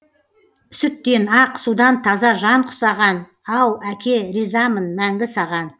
сүттен ақ судан таза жан құсаған ау әке ризамын мәңгі саған